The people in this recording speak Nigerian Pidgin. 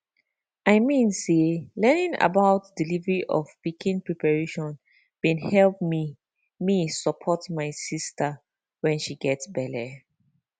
i mean say learning about delivery of pikin preparation bin help me me support my sister when she get belle